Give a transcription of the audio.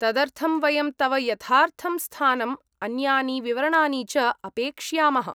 तदर्थं वयं तव यथार्थं स्थानम्, अन्यानि विवरणानि च अपेक्ष्यामः।